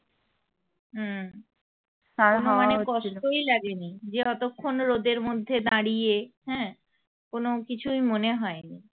মানে কষ্টই লাগে নি যে অতক্ষন রোদের মধ্যে দাড়িয়ে হ্যাঁ কোনো কিছুই মনে হয় নি